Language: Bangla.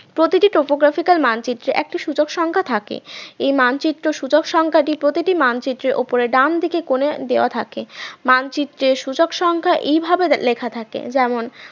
প্রতিটি প্রপ্রকাশিতার মানচিত্রে একটি সূচক সংখ্যা থাকে এই মানচিত্র সূচক সংখ্যাটি প্রতিটি মানচিত্রের উপরে ডান দিকের কোণে দেওয়া থাকে মানচিত্রের সূচক সংখ্যা এইভাবে লেখা থাকে যেমন